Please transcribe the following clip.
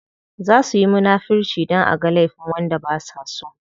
Za suyi munafirci dan aga laifin wanda basa so.